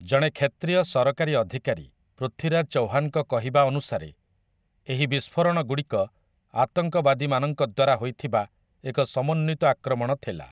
ଜଣେ କ୍ଷେତ୍ରୀୟ ସରକାରୀ ଅଧିକାରୀ, ପୃଥ୍ୱୀରାଜ୍ ଚହ୍ୱାନ ଙ୍କ କହିବା ଅନୁସାରେ, ଏହି ବିସ୍ଫୋରଣଗୁଡ଼ିକ 'ଆତଙ୍କବାଦୀମାନଙ୍କ ଦ୍ୱାରା ହୋଇଥିବା ଏକ ସମନ୍ୱିତ ଆକ୍ରମଣ ଥିଲା ।